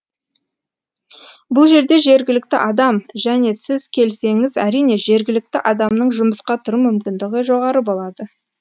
бұл жерде жергілікті адам және сіз келсеңіз әрине жергілікті адамның жұмысқа тұру мүмкіндігі жоғары болады